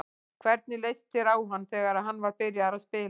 Hvernig leist þér á hann þegar hann var byrjaður að spila?